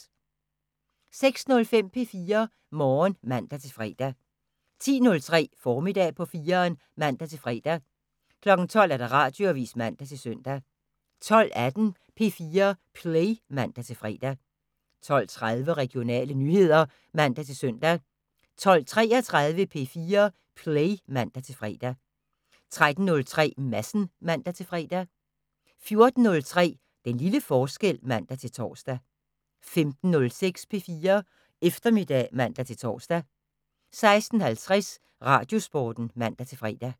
06:05: P4 Morgen (man-fre) 10:03: Formiddag på 4'eren (man-fre) 12:00: Radioavisen (man-søn) 12:18: P4 Play (man-fre) 12:30: Regionale nyheder (man-søn) 12:33: P4 Play (man-fre) 13:03: Madsen (man-fre) 14:03: Den lille forskel (man-tor) 15:06: P4 Eftermiddag (man-tor) 16:50: Radiosporten (man-fre)